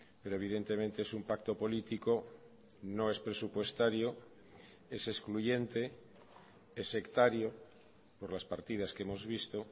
pero evidentemente es un pacto político no es presupuestario es excluyente es sectario por las partidas que hemos visto